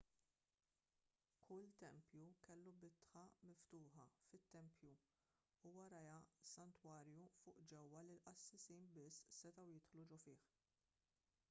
kull tempju kellu bitħa miftuħa fit-tempju u warajha santwarju fuq ġewwa li l-qassisin biss setgħu jidħlu ġo fih